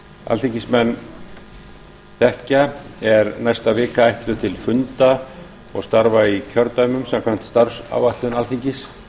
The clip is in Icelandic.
alþingismenn þekkja er næsta vika ætluð til funda og starfa í kjördæmum samkvæmt starfsáætlun alþingis